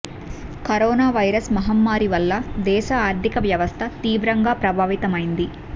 corona virus మహమ్మారి వల్ల దేశ ఆర్థిక వ్యవస్థ తీవ్రంగా ప్రభావితమైంది